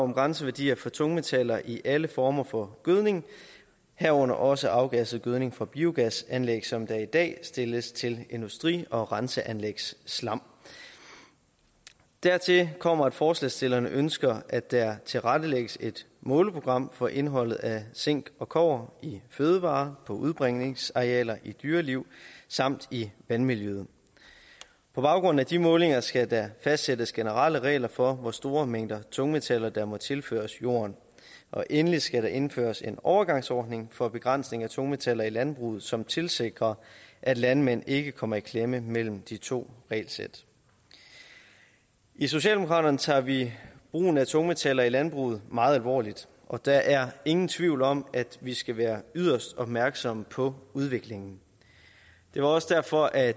om grænseværdier for tungmetaller i alle former for gødning herunder også afgasset gødning fra biogasanlæg som der i dag stilles til industri og renseanlægsslam dertil kommer at forslagsstillerne ønsker at der tilrettelægges et måleprogram for indholdet af zink og kobber i fødevarer på udbringningsarealer i dyreliv samt i vandmiljøet på baggrund af de målinger skal der fastsættes generelle regler for hvor store mængder af tungmetaller der må tilføres jorden og endelig skal der indføres en overgangsordning for begrænsning af tungmetaller i landbruget som tilsikrer at landmænd ikke kommer i klemme mellem de to regelsæt i socialdemokraterne tager vi brugen af tungmetaller i landbruget meget alvorligt og der er ingen tvivl om at vi skal være yderst opmærksomme på udviklingen det var også derfor at